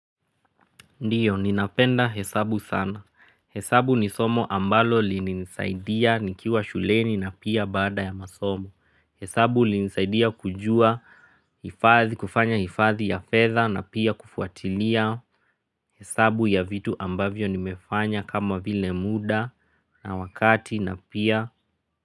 Ndiyo, ninapenda hesabu sana. Hesabu ni somo ambalo lininisaidia nikiwa shuleni na pia baada ya masomo. Hesabu ulinisaidia kujua hifadhi, kufanya hifadhi ya fedha na pia kufuatilia hesabu ya vitu ambavyo nimefanya kama vile muda na wakati na pia.